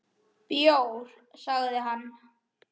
Bjór, sagði hann.